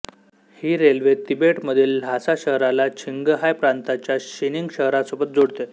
ही railway तिबेटमधील Lhasa शहराला छिंगहाय प्रांताच्या शीनिंग शहरासोबत जोडते